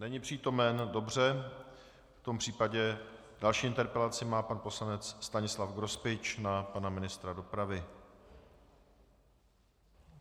Není přítomen, dobře, v tom případě další interpelaci má pan poslanec Stanislav Grospič na pana ministra dopravy.